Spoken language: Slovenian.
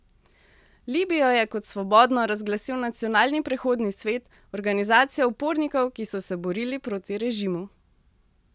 Libijo je kot svobodno razglasil Nacionalni prehodni svet, organizacija upornikov, ki so se borili proti režimu.